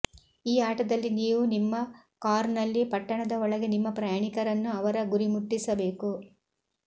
ಈ ಆಟದಲ್ಲಿ ನೀವು ನಿಮ್ಮ ಕಾರ್ನಲ್ಲಿ ಪಟ್ಟಣದ ಒಳಗೆ ನಿಮ್ಮ ಪ್ರಯಾಣಿಕರನ್ನು ಅವರ ಗುರಿಮುಟ್ಟಿಸಬೇಕು